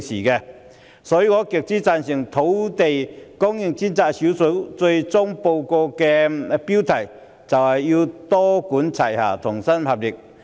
因此，我極之贊成專責小組最終報告的標題，必須多管齊下，同心協力。